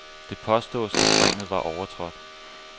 Det påstås, at springet var overtrådt.